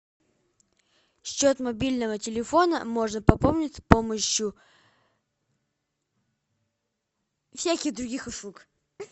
счет мобильного телефона можно пополнить с помощью всяких других услуг